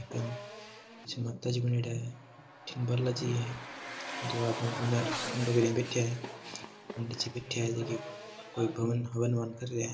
माताजी बनियोडा है एक बालाजी है दो आदमी बुने मुंडो करीया बैठिया हैं पंडित जी बैठया हैं जो कोई हवन ववन कर रिया है।